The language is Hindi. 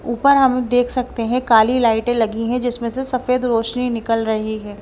ऊपर हम देख सकते हैं काली लाइटें लगी हैं जिसमें से सफेद रोशनी निकल रही है।